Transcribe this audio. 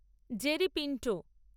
Jerry Pinto